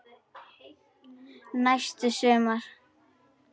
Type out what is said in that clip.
Næsta sumar.